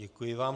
Děkuji vám.